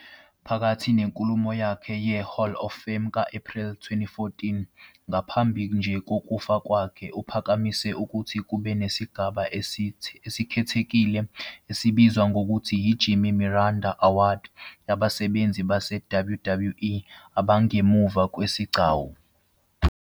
Phakathi nenkulumo yakhe ye-Hall of Fame ka-April 2014 ngaphambi nje kokufa kwakhe, uphakamise ukuthi kube nesigaba esikhethekile esibizwa ngokuthi "i-Jimmy Miranda Award" yabasebenzi base-WWE abangemuva kwesigcawu.